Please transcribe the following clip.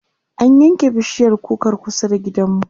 an yanke bishiyar kukar kusa da gidanmu